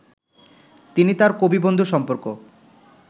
তিনি তাঁর কবিবন্ধু সম্পর্ক